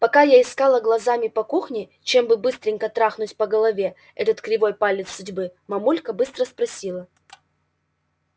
пока я искала глазами по кухне чем бы быстренько трахнуть по голове этот кривой палец судьбы мамулька быстро спросила